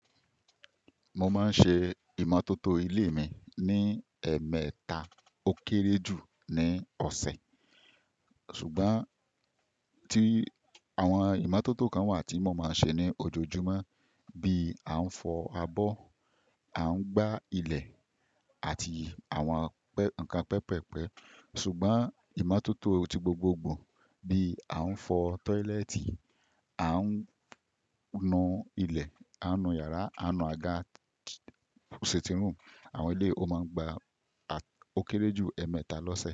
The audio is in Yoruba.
Mo máa ń ṣe ìmọ́tótó ilé mi ní ẹ̀ẹ̀mẹta ó kéré jù ní ọ̀sẹ̀, ṣùgbọ́n tí àwọn ìmọ́tótó kan wà tí mo máa ń ṣe ní ojoojúmọ́, bí a ń fọ abọ́, a ń gbá ilẹ̀ àti àwọn nnkan pẹpẹpẹ. Ṣùgbọ́n ìmọ́tótó ti gbogbogbò bí a ń fọ tọ́ílẹ́ẹ̀tì, a ń nu ilẹ̀, a nu yàrá, a nu àga, ṣètírù àwọn ilé, ó máa ń gba ó kéré jù ẹ̀ẹ̀mẹta lọ́sẹ̀.